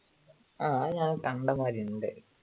ആ അത് ഞാൻ കണ്ടതായിട്ട് ഉണ്ട്